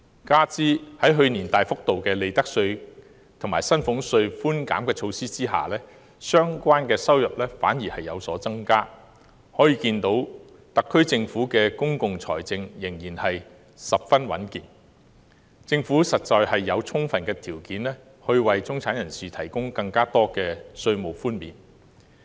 加上在去年推出大幅度的利得稅和薪俸稅寬減措施下，相關收入反而有所增加，由此可見特區政府的公共財政仍然十分穩健，實有充分條件為中產人士提供更多稅務寬免。